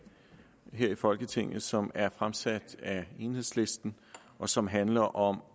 her i folketinget som er fremsat af enhedslisten og som handler om